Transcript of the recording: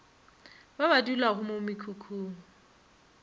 ba ba dulago mo mekhukhung